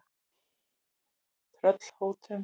Tröllhólum